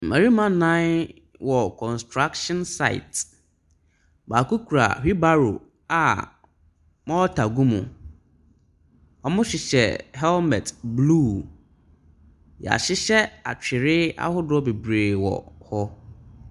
Mmarima nnan wɔ construction site, baako kura wheel barrow a morter gu mu. Wɔhyehyɛ hekmet blue. Wɔahyehyɛ atweredeɛ ahodoɔ bebree wɔ hɔ.